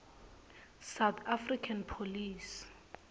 south african police